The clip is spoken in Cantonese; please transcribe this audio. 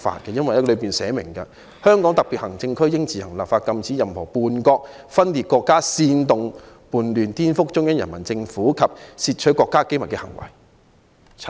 《基本法》寫明，"香港特別行政區應自行立法禁止任何叛國、分裂國家、煽動叛亂、顛覆中央人民政府及竊取國家機密的行為"。